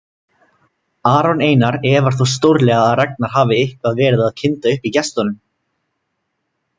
Aron Einar efar þó stórlega að Ragnar hafi eitthvað verið að kynda upp í gestunum.